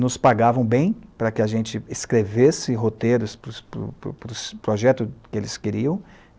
nos pagavam bem para que a gente escrevesse roteiros para o para os para os projeto que eles queriam.